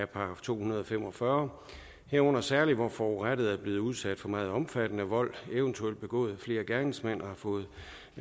§ to hundrede og fem og fyrre herunder særligt hvor forurettede er blevet udsat for meget omfattende vold eventuelt begået af flere gerningsmænd og har fået